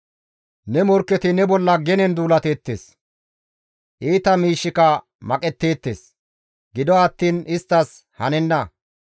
Ne morkketi ne bolla genen duulateettes; iita miishshika maqetteettes; gido attiin isttas hanenna.